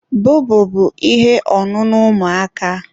bọbọ bụ ihe ọṅụṅụ ụmụaka.